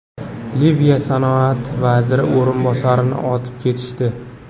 Liviya sanoat vaziri o‘rinbosarini otib ketishdi.